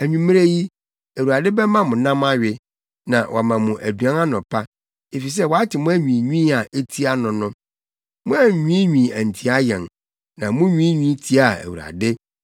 Anwummere yi, Awurade bɛma mo nam awe, na wama mo aduan anɔpa, efisɛ wate mo anwiinwii a etia no no. Moannwiinwii antia yɛn, na munwiinwii tiaa Awurade.”